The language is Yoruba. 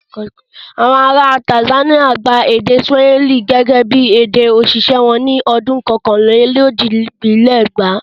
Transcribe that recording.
Àwọn ará Tanzania gba èdè Swahili gẹ́gẹ́ bí èdè òṣìṣẹ́ wọn ní ọdún kọkànlélójìdínlẹ́gbàá.